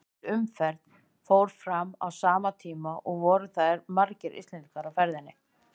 Heil umferð fór fram á sama tíma og voru því margir Íslendingar á ferðinni.